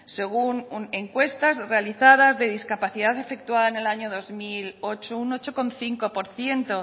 según encuestas realizadas de discapacidad efectuada en el año dos mil ocho un ocho coma cinco por ciento